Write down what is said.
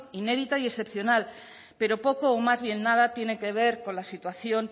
inédita y excepcional pero poco o más bien nada tiene que ver con la situación